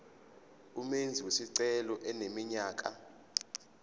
umenzi wesicelo eneminyaka